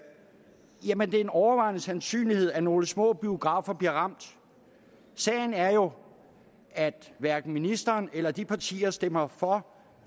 en overvejende sandsynlighed at nogle små biografer bliver ramt sagen er jo at hverken ministeren eller de partier der stemmer for